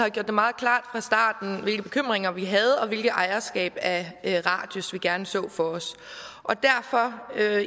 har gjort det meget klart fra starten hvilke bekymringer vi havde og hvilket ejerskab af radius vi gerne så for os derfor vil jeg